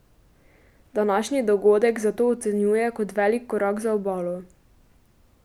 Današnji dogodek zato ocenjuje kot velik korak za Obalo.